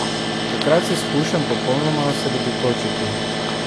Takrat se skušam popolnoma osredotočiti.